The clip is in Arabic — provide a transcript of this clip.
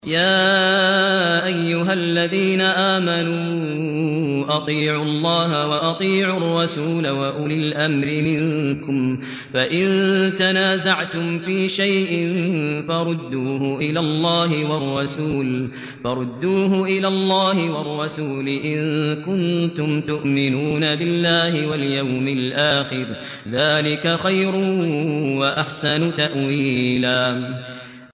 يَا أَيُّهَا الَّذِينَ آمَنُوا أَطِيعُوا اللَّهَ وَأَطِيعُوا الرَّسُولَ وَأُولِي الْأَمْرِ مِنكُمْ ۖ فَإِن تَنَازَعْتُمْ فِي شَيْءٍ فَرُدُّوهُ إِلَى اللَّهِ وَالرَّسُولِ إِن كُنتُمْ تُؤْمِنُونَ بِاللَّهِ وَالْيَوْمِ الْآخِرِ ۚ ذَٰلِكَ خَيْرٌ وَأَحْسَنُ تَأْوِيلًا